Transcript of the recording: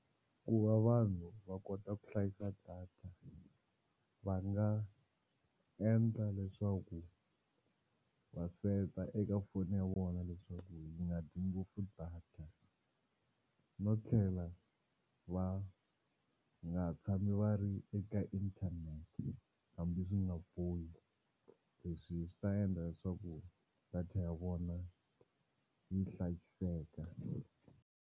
Ku va vanhu va kota ku hlayisa data va nga endla leswaku va set-a eka foni ya vona leswaku yi nga dyi ngopfu data no tlhela va nga tshami va ri eka internet hambi swi nga bohi leswi swi ta endla leswaku data ya vona yi hlayiseka.